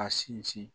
A sinsin